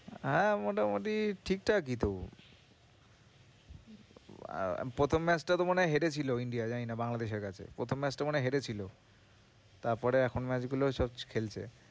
হ্যাঁ, মোটামুটি ঠিকঠাকই তো প্রথম match টা তো মনে হয় হেরেছিল India জানি না বাংলাদেশের কাছে, প্রথম match টা মনে হয় হেরেছিল, তারপরে এখন match গুলোয় সব খেলছে।